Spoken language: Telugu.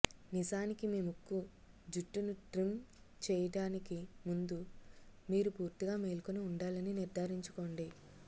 నిజానికి మీ ముక్కు జుట్టును ట్రిమ్ చేయటానికి ముందు మీరు పూర్తిగా మేల్కొని ఉండాలని నిర్ధారించుకోండి